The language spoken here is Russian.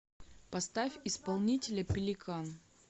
поставь исполнителя пеликан